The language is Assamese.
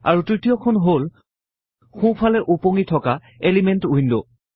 আৰু তৃতীয়খন হল সোঁফালে উপঙি তকা এলিমেন্ট উইন্ড